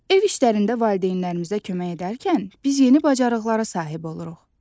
Ev işlərində valideynlərimizə kömək edərkən biz yeni bacarıqlara sahib oluruq.